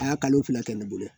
A y'a kalo fila kɛ ne bolo